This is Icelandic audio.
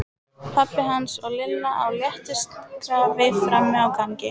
Pabbi hans og Lilla á léttu skrafi frammi á gangi.